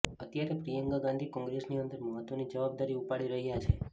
અત્યારે પ્રિયંકા ગાંધી કોંગ્રેસની અંદર મહત્વની જવાબદારી ઉપાડી રહ્યા છે